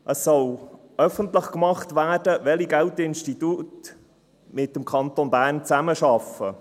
Es soll öffentlich gemacht werden, welche Bankinstitute mit dem Kanton Bern zusammenarbeiten.